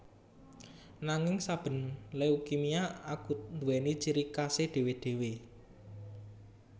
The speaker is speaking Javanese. Nanging saben leukemia akut nduwèni ciri khasé dhéwé dhéwé